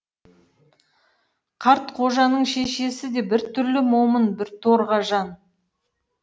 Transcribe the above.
қартқожаның шешесі де бір түрлі момын біртоға жан